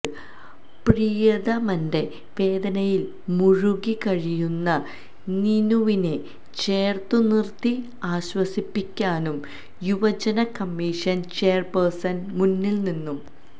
പ്രിയതമന്റെ വേദനയിൽ മുഴുകി കഴിയുന്ന നീനുവിനെ ചേർത്തു നിർത്തി ആശ്വസിപ്പിക്കാനും യുവജന കമ്മീഷൻ ചെയർപേഴ്സ്ൺ മുന്നിൽ നിന്നും